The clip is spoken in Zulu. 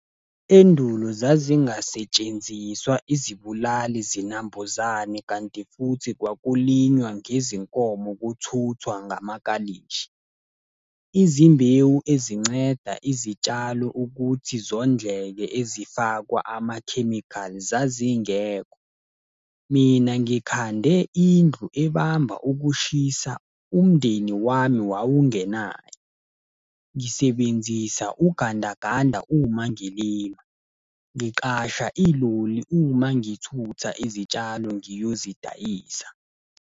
Endulo zazingasetshenziswa izibulali zinambuzane kanti futhi kwakulinywa ngezinkomo kuthuthwa ngamakalishi. Izimbewu ezinceda izitshalo ukuthi zondleke ezifakwa amakhemikhali zazingekho. Mina ngikhande indlu ebamba ukushisa umndeni wami wawungenayo. Ngisebenzisa ugandaganda uma ngilima. Ngiqasha iloli uma ngithutha izitshalo ngiyozidayisa.